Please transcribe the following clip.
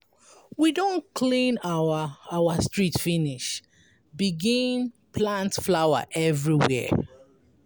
We don clean our our street finish begin plant flower everywhere.